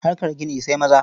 Harkar gini sai maza.